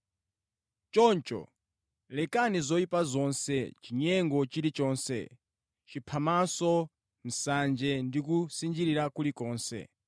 Choncho, lekani zoyipa zonse, chinyengo chilichonse, chiphamaso, nsanje ndi kusinjirira kulikonse.